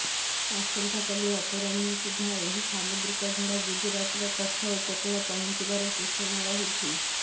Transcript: ଆସନ୍ତାକାଲି ଅପରାହ୍ନ ସୁଦ୍ଧା ଏହି ସାମୁଦ୍ରିକ ଝଡ଼ ଗୁଜରାଟର କଚ୍ଛ ଉପକୂଳ ପହଞ୍ଚିବାର ସୂଚନା ରହିଛି